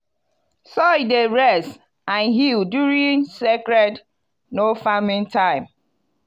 soil dey rest and heal during sacred no-farming time.